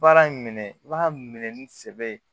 Baara in minɛ i b'a minɛ ni sɛbɛ ye